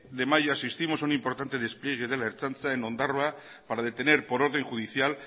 de mayo asistimos a un importante despliegue de la ertzaintza en ondarroa para detener por orden judicial